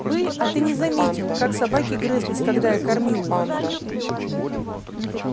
бы а ты не заметил как собаки грызлись когда я кормил их